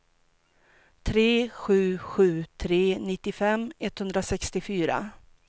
tre sju sju tre nittiofem etthundrasextiofyra